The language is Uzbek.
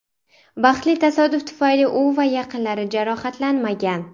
Baxtli tasodif tufayli u va yaqinlari jarohatlanmagan.